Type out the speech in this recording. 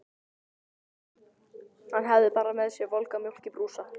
Ég hafði bara með mér volga mjólk í brúsa.